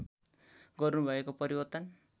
गर्नु भएको परिवर्तन